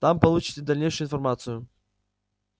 там получите дальнейшую информацию